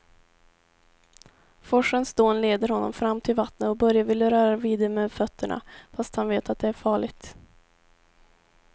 Forsens dån leder honom fram till vattnet och Börje vill röra vid det med fötterna, fast han vet att det är farligt.